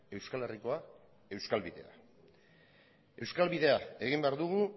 euskal herrikoa euskal bidea euskal bidea egin behar dugu